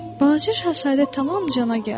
Balaca şahzadə tamam cana gəldi.